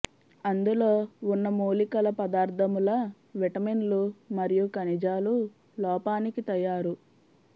అందులో ఉన్న మూలికల పదార్దముల విటమిన్లు మరియు ఖనిజాలు లోపానికి తయారు